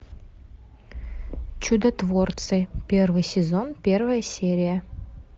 чудотворцы первый сезон первая серия